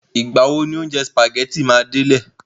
Ìgbà wo ni oúnjẹ sìpàgẹ́tì mi máa délẹ̀?